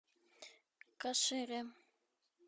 кашире